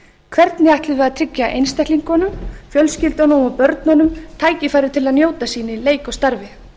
hvernig ætlum við að tryggja einstaklingunum fjölskyldunum og börnunum tækifæri til að njóta sín í leik og starfi